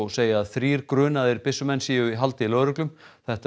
segja að þrír grunaðir byssumenn séu í haldi lögreglu þetta